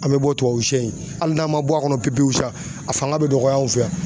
An bɛ bɔ tubabuw shɛ in, hali n'an ma bɔ a kɔnɔ pepewu sa a fanga bɛ dɔgɔya anw fɛ yan.